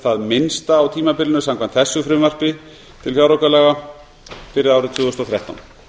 það minnsta á tímabilinu samkvæmt þessu frumvarpi til fjáraukalaga fyrir árið tvö þúsund og þrettán